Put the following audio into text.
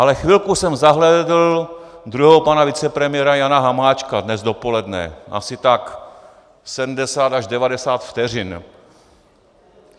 Ale chvilku jsem zahlédl druhého pana vicepremiéra Jana Hamáčka dnes dopoledne, asi tak 70 až 90 vteřin.